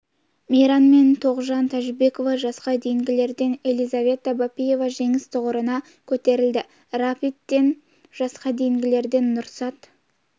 мейрам мен тоғжан тәжібекова жасқа дейінгілерден елизавета бапиева жеңіс тұғырына көтерілді рапидтен жасқа дейінгілерден нұрсат